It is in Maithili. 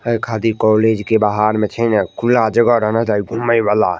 है खादी कॉलेज के बाहर में छे न खुला जगह रहना चाहिए घूमे वाला।